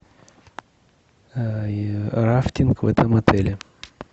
рафтинг в этом отеле